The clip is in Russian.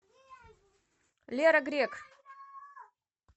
лера грек